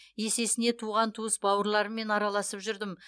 есесіне туған туыс бауырларыммен араласып жүрдім